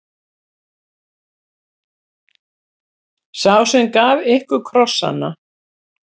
Sá sem gaf ykkur krossana.